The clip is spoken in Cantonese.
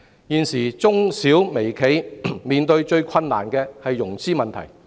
現時中小微企面對的最大困難是融資問題。